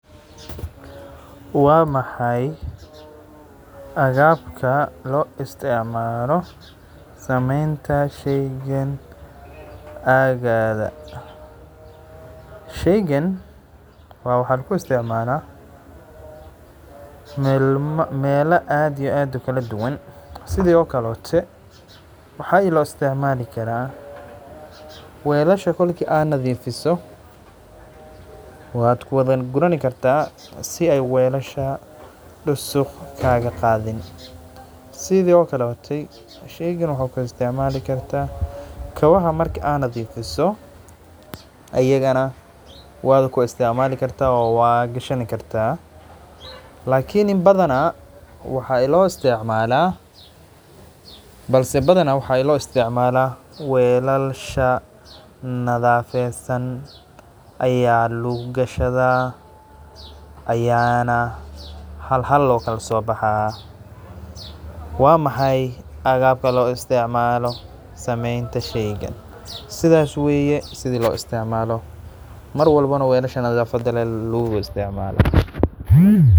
Guriga kiraya waa mid muhiim u ah bulshada maanta, gaar ahaan magaalooyinka weyn ee, halkaas oo qofku u baahan yahay inuu raadiyo guri nasiib leh oo ku habboon dakhliihtiisa, laakiintu waxaa jira caqabado badan oo ku wajahan arintan, sida qiimaha kiraya oo sannad kasta sii kordhaya, taasi oo keenta in dadka qaarkood ay awood u lahayn inay guri ku kirayaan, gaar ahaan shaqaalaha hoose ee dakhliga yar, waxaa kaloo jira guryo badan oo aan habboonayn oo leh qaab dhismeed xanuun badan ama nadiif darro, taas oo keenta cidina ay rabin inay ku noolaato, sidaas darteed waxaa lagama maarmaan ah.